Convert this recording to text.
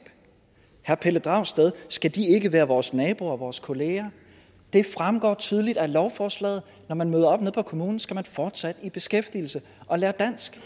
herre pelle dragsted skal de ikke være vores naboer og vores kolleger det fremgår tydeligt af lovforslaget at når man møder op nede på kommunen skal man fortsætte i beskæftigelse og lære dansk